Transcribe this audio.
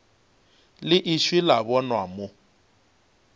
le ešo la bonwa mo